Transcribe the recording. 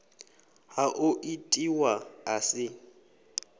ha o itiwa a si